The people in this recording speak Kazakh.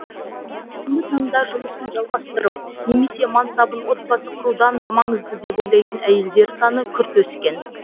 бүгінгі таңда жұмысын жалғастырып немесе мансабын отбасы құрудан да маңызды деп ойлайтын әйелдер саны күрт өскен